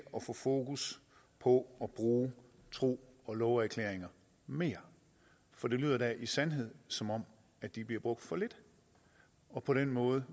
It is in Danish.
få fokus på bruge tro og love erklæringer mere for det lyder da i sandhed som om de bliver brugt for lidt og på den måde